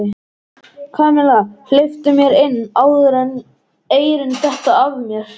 Kamilla, hleyptu mér inn áður en eyrun detta af mér